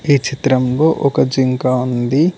ఈ చిత్రంలో ఒక జింక ఉంది.